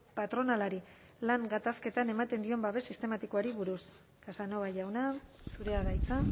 patronalari lan gatazketan ematen dion babes sistematikoari buruz casanova jauna zurea da hitza